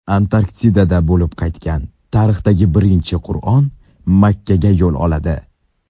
Antarktidada bo‘lib qaytgan tarixdagi birinchi Qur’on Makkaga yo‘l oladi.